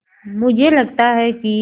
मुझे लगता है कि